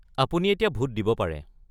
আপুনি এতিয়া ভোট দিব পাৰে।